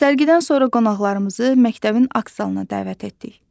Sərgidən sonra qonaqlarımızı məktəbin akt zalına dəvət etdik.